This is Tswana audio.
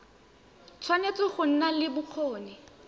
tshwanetse go nna le bokgoni